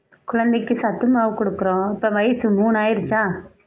குழந்தைக்கு சத்து மாவு கொடுக்கிறோம் இப்ப வயசு மூனு ஆயிடுச்சா